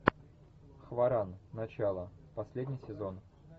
хваран начало последний сезон